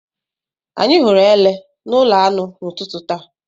Anyị hụrụ Ele n'ụlọ anụ n'ụtụtụ taa